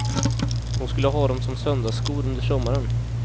Hon skulle ha dem som söndagsskor under sommaren.